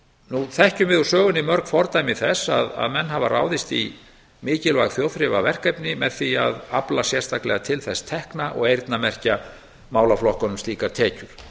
nú þekkjum við úr sögunni mörg fordæmi þess að menn hafa ráðist í mikilvæg þjóðþrifaverkefni með því að afla sérstaklega til þess tekna og eyrnamerkja málaflokkunum slíkar tekjur